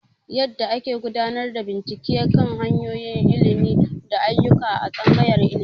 An koya mana yadda ake gudanar da bincike kan hanyoyin ilimi da ayyuka a Tsangayar Ilimi.